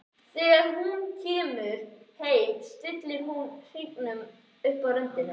Þegar hún kemur heim stillir hún hringnum upp á rönd.